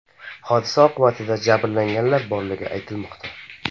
Hodisa oqibatida jabrlanganlar borligi aytilmoqda.